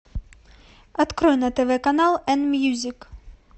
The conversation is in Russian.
открой на тв канал н мьюзик